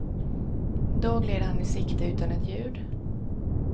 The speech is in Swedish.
Då gled han i sikte utan ett ljud.